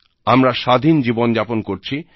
আমরা স্বাধীন জীবন যাপন করছি